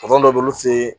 dɔ bɛ yen olu fe yen